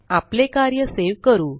आपले कार्य सेव करू